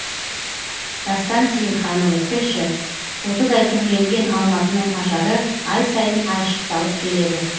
дастан сейілханұлы тілші тотыдай түрленген алматының ажары ай сайын айшықталып келеді